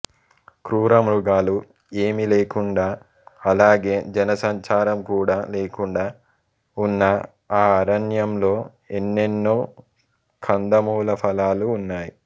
క్రూరమృగాలు ఏమీ లేకుండా అలాగే జనసంచారం కూడా లేకుండా ఉన్న ఆ అరణ్యంలో ఎన్నెన్నో కందమూల ఫలాలు ఉన్నాయి